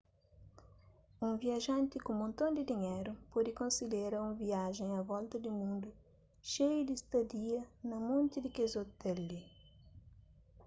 un viajanti ku monton di dinheru pode konsidera un viajen a volta di mundu xeiu di stadia na monti di kes ôtel li